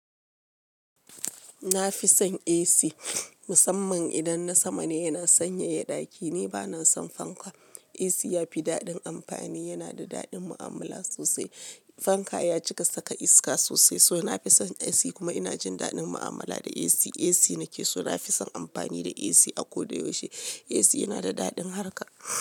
Na fi son AC musamman idan na sama ne yana sanyaya ɗaki. Ni ba na son fanka. AC ya fi daɗin amfani, yana da daɗin mu'amala sosai. Fanka ya cika saka iska sosai, so na fi son AC kuma ina jin daɗin mu'amala da AC. AC nake so, na fi son amfani da AC a ko da yaushe. AC yana da daɗin harka.